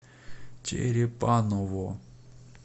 черепаново